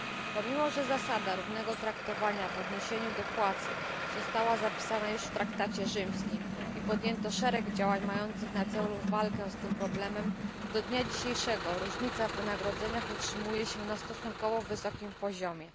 Pomimo że zasada równego traktowania w odniesieniu do płac została zapisana już w traktacie rzymskim i podjęto szereg działań, mających na celu walkę z tym problemem, do dnia dzisiejszego różnica w wynagrodzeniach utrzymuje się na stosunkowo wysokim poziomie.